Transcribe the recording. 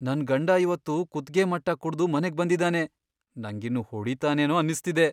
ನನ್ ಗಂಡ ಇವತ್ತು ಕುತ್ಗೆ ಮಟ್ಟ ಕುಡ್ದು ಮನೆಗ್ ಬಂದಿದಾನೆ. ನಂಗಿನ್ನು ಹೊಡಿತಾನೇನೋ ಅನ್ನಿಸ್ತಿದೆ.